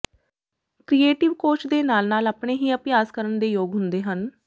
creative coach ਦੇ ਨਾਲ ਨਾਲ ਆਪਣੇ ਹੀ ਅਭਿਆਸ ਕਰਨ ਦੇ ਯੋਗ ਹੁੰਦੇ ਹਨ